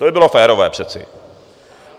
To by bylo férové přece.